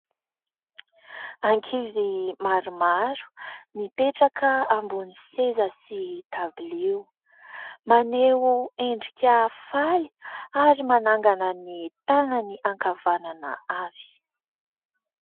Ankizy maromaro, nipetraka ambon'ny seza sy tabilio ; maneho endrika faly ary manangana ny tanany ankavanana avy.